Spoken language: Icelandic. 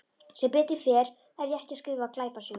Sem betur fer er ég ekki að skrifa glæpasögu.